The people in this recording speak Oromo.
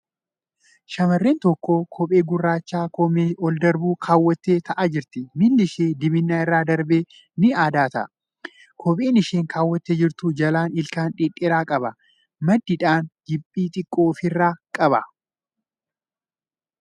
Shamarreen tokko kophee gurraacha koomee ol darbu keewwattee taa'aa jirti. Miilli ishee diimina irra darbee ni addaata. Kopheen isheen keewwattee jirtu jalaan ilkaan dhedheera qaba. Maddiidhaan giiphii xiqqoo ofirraa qaba .